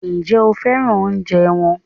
Ǹjẹ́ o féràn oúnjẹ wọn?